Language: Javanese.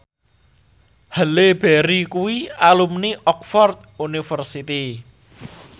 Halle Berry kuwi alumni Oxford university